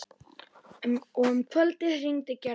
Og um kvöldið hringdi Gerður.